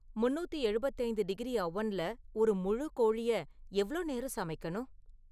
முன்னூத்தி எழுபத்தைந்து டிகிரி அவண்ல ஒரு முழு கோழிய எவ்ளோ நேரம் சமைக்கணும்?